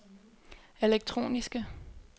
elektroniske